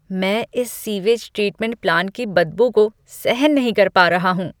मैं इस sewage treatment plant की बदबू को सहन नहीं पा रहा हूँ।